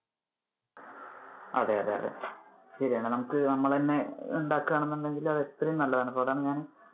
അതെ അതെ അതെ. ശെരിയാണ് നമുക്ക് നമ്മള് ഉണ്ടാകുവാണെന്ന് ഉണ്ടെങ്കിൽ അത് എത്രയോ നല്ലതാണ്. ഇപ്പൊ തന്നെ